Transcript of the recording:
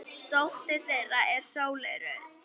Dóttir þeirra er Sóley Rut.